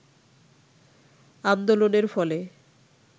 আন্দোলনের ফলে